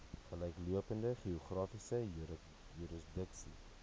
gelyklopende geografiese jurisdiksie